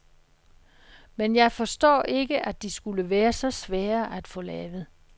Men jeg forstår ikke, at de skulle være så svære at få lavet.